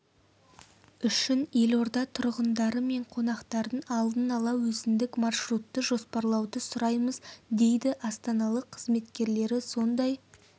үшін елорда тұрғындары мен қонақтарын алдын ала өзіндік маршрутты жоспарлауды сұраймыз дейді астаналық қызметкерлері сондай